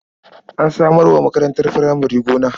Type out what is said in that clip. An samar wa makarantar furamare gona.